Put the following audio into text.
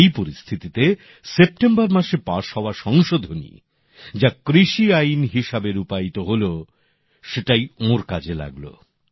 এই পরিস্থিতিতে সেপ্টেম্বরে পাশ হওয়া সংশোধনী যা কৃষি আইন হিসেবে রূপায়িত হলো সেটাই ওঁর কাজে লাগলো